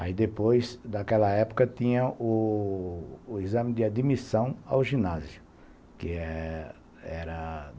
Aí depois, naquela época, tinha o o exame de admissão ao ginásio, que é, que era